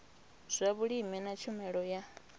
zwa vhulimi na tshumelo ya